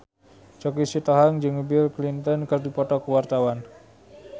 Choky Sitohang jeung Bill Clinton keur dipoto ku wartawan